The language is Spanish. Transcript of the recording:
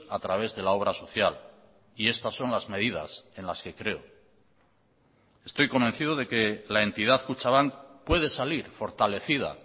a través de la obra social y estas son las medidas en las que creo estoy convencido de que la entidad kutxabank puede salir fortalecida